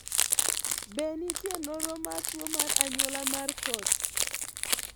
Be nitie nonro mar tuo mar anyuola mar Coats?